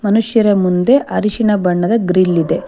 ಮನುಷ್ಯರ ಮುಂದೆ ಅರಿಶಿಣ ಬಣ್ಣದ ಗ್ರಿಲ್ ಇದೆ.